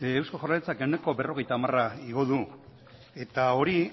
eusko jaurlaritzak ehuneko berrogeita hamara igo du eta hori